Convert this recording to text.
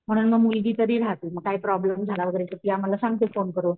म्हणून मग मुलगी तरी रहाते मग काय प्रॉब्लम झाला वगैरे तर ती आम्हाला सांगते फोन करून.